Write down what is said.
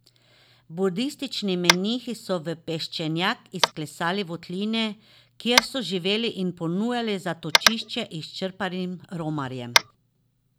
Budistični menihi so v peščenjak izklesali votline, kjer so živeli in ponujali zatočišče izčrpanim romarjem.